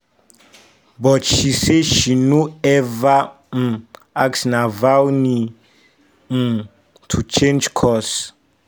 but she say she no ever um ask navalny um to change course.